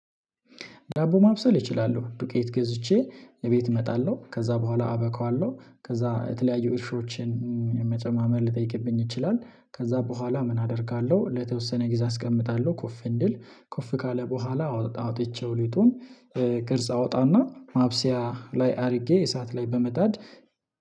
ዳቦ ማብሰል እችላለሁ ዱቄት ገዝቼ እቤት እመጣለሁ ከዛ በኋላ አበካዋለሁ ከዛ የተለያዩ እርሾችን መጨማመር ልጠይቅብኝ ይችላል። ከዛ በኋላ ምን አደርጋለሁ ለተወሰነ ጊዜ አስቀምጣለሁ ኮፍ እንድል ኮፍ ካለ በኋላ አውጥቼው ሊጡን። ቅርጽ አውጣና ማብሰያ ላይ አድርጌ እሳት ላይ በመጣድ